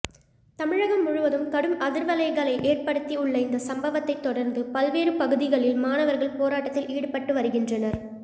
தமிழகம் முழுவதும் கடும் அதிர்வலைகளை ஏற்படுத்தி உள்ள இந்த சம்பவத்தைத் தொடர்ந்து பல்வேறு பகுதிகளில் மாணவர்கள் போராட்டத்தில் ஈடுபட்டு வருகின்றனர்